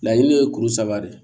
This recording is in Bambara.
Laɲini ye kuru saba de ye